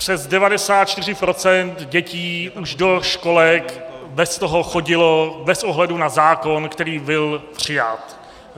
Přes 94 % dětí už do školek beztoho chodilo, bez ohledu na zákon, který byl přijat.